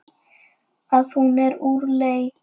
Að hún er úr leik.